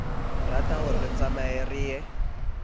ratahore re tsamayeng re ye